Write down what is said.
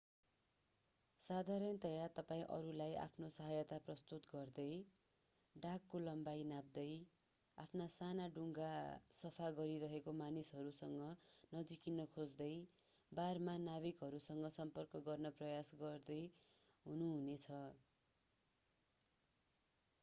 साधारणतया तपाईं अरूलाई आफ्नो सहायता प्रस्तुत गर्दै डकको लम्बाई नाप्दै आफ्ना साना डुङ्गा सफा गरिरहेका मानिसहरूसँग नजिकिन खोज्दै बारमा नाविकहरूसँग सम्पर्क गर्ने प्रयास गर्दै हुनु हुने छ